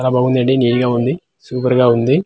చాలా బాగుందండి నిట్ గా సూపర్ గా ఉంది.